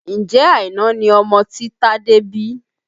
Ǹjẹ́ Àìná ni ọmọ tí Tade bí?